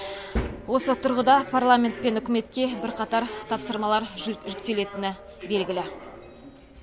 осы тұрғыда парламент пен үкіметке бірқатар тапсырмалар жүктелетіні белгілі